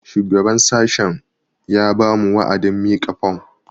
Shugaban sashen ya ba mu wa'adin mika fom